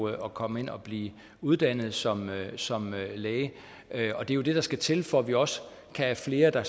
at komme ind og blive uddannet som som læge det er jo det der skal til for at vi også kan have flere der